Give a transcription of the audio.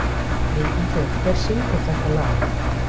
Víkingur, hver syngur þetta lag?